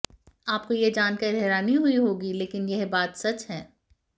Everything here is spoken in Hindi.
आपको यह जानकर हैरानी हुई होगी लेकिन यह बात सच है